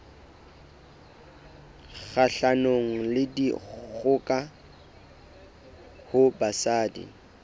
kgahlanong le dikgoka ho basadi